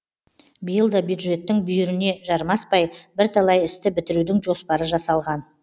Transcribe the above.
биыл да бюджеттің бүйіріне жармаспай бірталай істі бітірудің жоспары жасалған